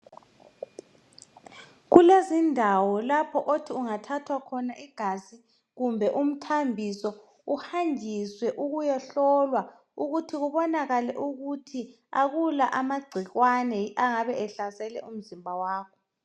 Kulezindawo lapho othi ungathathwa khona igazi kumbe umthambiso, uhanjiswe ukuyehlolwa. Ukuba kubonakale ukuthi kakula amagcikwane angabe ehlasele umzimba wakho.